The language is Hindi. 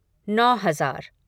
नौ हज़ार